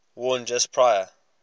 worn just prior